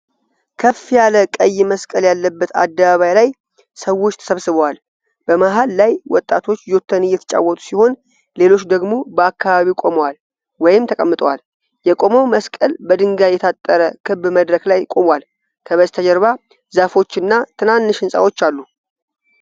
ከፍ ያለ ቀይ መስቀል ያለበት አደባባይ ላይ ሰዎች ተሰባስበዋል። በመሃል ላይ ወጣቶች ጆተኒ እየተጫወቱ ሲሆን ሌሎች ደግሞ በአካባቢው ቆመዋል ወይም ተቀምጠዋል። የቆመው መስቀል በድንጋይ የታጠረ ክብ መድረክ ላይ ቆሟል። ከበስተጀርባ ዛፎች እና ትናንሽ ሕንጻዎች አሉ።